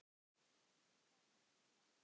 en gerðist samt.